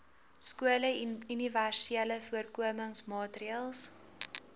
skole universele voorkomingsmaatreëls